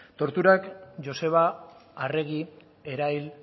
torturak joseba arregi erail